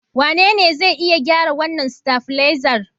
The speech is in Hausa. Wanene zai iya gyara wannan stavilizer?